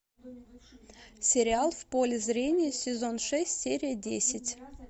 сериал в поле зрения сезон шесть серия десять